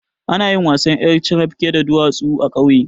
Anayin wasan ƴar carafke da duwatsu a ƙauye